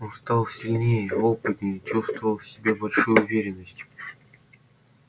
он стал сильнее опытнее чувствовал в себе большую уверенность